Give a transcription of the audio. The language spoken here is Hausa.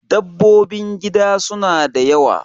Dabbobin gida suna da yawa